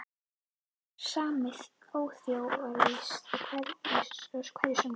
Þetta er sami óþjóðalýðurinn á hverju sumri